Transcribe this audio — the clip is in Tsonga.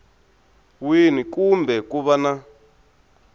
wini kumbe ku va na